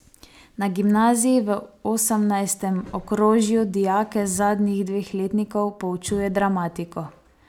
Na gimnaziji v osemnajstem okrožju dijake zadnjih dveh letnikov poučuje dramatiko.